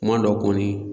Kuma dɔ kɔni